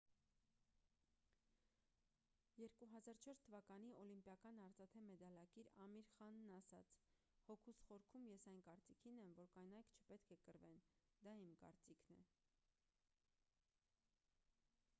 2004 թվականի օլիմպիական արծաթե մեդալակիր ամիր խանն ասաց հոգուս խորքում ես այն կարծիքին եմ որ կանայք չպետք է կռվեն դա իմ կարծիքն է